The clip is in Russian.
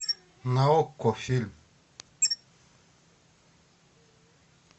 на окко фильм